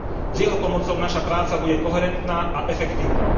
S jeho pomocou naša práca bude koherentná a efektívna.